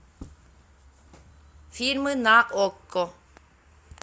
фильмы на окко